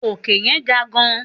Òkè yẹn ga gan-an.